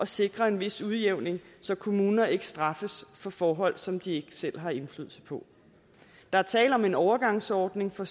sikre en vis udligning så kommuner ikke straffes for forhold som de ikke selv har indflydelse på der er tale om en overgangsordning for